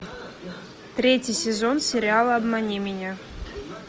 третий сезон сериала обмани меня